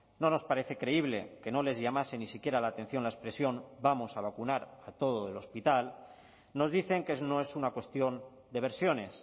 no nos parece creíble que no les llamase ni siquiera la atención la expresión vamos a vacunar a todo el hospital nos dicen que no es una cuestión de versiones